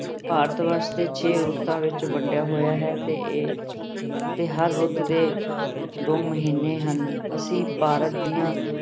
ਭਾਰਤ ਵਰਸ ਦੇ ਛੇ ਰੁੱਤਾਂ ਵਿੱਚ ਵੰਡਿਆ ਹੋਇਆ ਹੈ ਤੇ ਇਹ ਇਹ ਹਰ ਰੁੱਤ ਦੇ ਦੋ ਮਹੀਨੇ ਹਨ ਅਸੀਂ ਭਾਰਤ ਦੀਆਂ